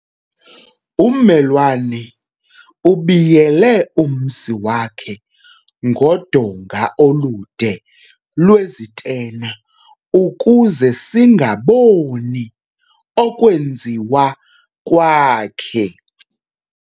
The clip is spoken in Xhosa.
Ummelwane ubiyele umzi wakhe ngodonga olude lwezitena ukuze singakuboni okwenziwa kwakhe.